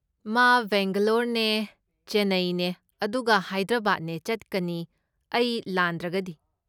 ꯃꯥ ꯕꯦꯡꯒꯂꯣꯔꯅꯦ ꯆꯦꯟꯅꯩꯅꯦ ꯑꯗꯨꯒ ꯍꯥꯏꯗ꯭ꯔꯕꯥꯗꯅꯦ ꯆꯠꯀꯅꯤ ꯑꯩ ꯂꯥꯟꯗ꯭ꯔꯒꯗꯤ꯫